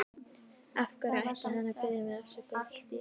Af hverju ætti hann að biðja mig afsökunar?